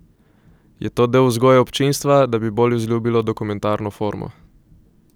Je to del vzgoje občinstva, da bi bolj vzljubilo dokumentarno formo?